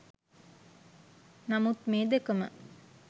නමුත් මේ දෙකම